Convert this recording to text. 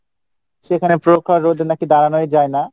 সেখানে প্রখার রোদ নাকি দাড়ানোই যাই না,